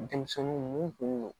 Denmisɛnninw mun kun